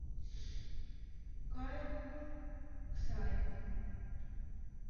кайл ксай